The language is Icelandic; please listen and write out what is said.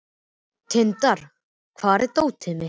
Tindar, hvar er dótið mitt?